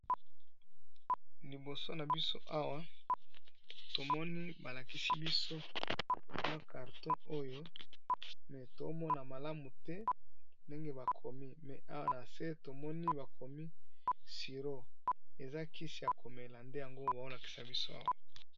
Liboso na biso awa tomoni balakisi biso na karton oyo me tomona malamu te ndenge bakomi, mais awa na se tomoni bakomi siro eza kisi ya komela nde yango baolakisa biso awa.